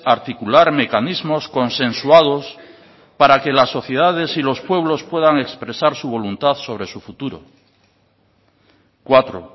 articular mecanismos consensuados para que las sociedades y los pueblos puedan expresar su voluntad sobre su futuro cuatro